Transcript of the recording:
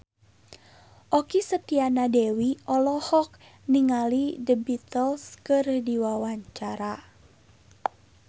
Okky Setiana Dewi olohok ningali The Beatles keur diwawancara